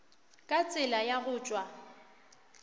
ka tsela ya go tšwa